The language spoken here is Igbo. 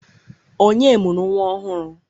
Ònye mụrụ nnwa ọhụrụ?